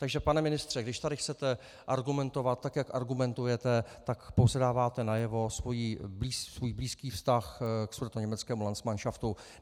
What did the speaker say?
Takže pane ministře, když tady chcete argumentovat, tak jak argumentujete, tak pouze dáváte najevo svůj blízký vztah k sudetoněmeckému landsmanšaftu.